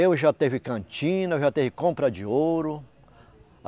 Eu já tive cantina, eu já tive compra de ouro.